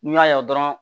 N'u y'a ye dɔrɔn